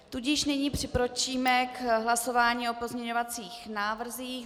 Tudíž nyní přikročíme k hlasování o pozměňovacích návrzích.